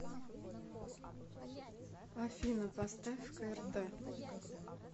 афина поставь крт